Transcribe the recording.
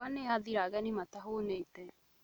Mboga nĩ yathira ageni matahũnĩte